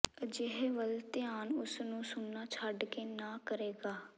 ਅਜਿਹੇ ਵੱਲ ਧਿਆਨ ਉਸ ਨੂੰ ਸੁਣਨਾ ਛੱਡ ਕੇ ਨਾ ਕਰੇਗਾ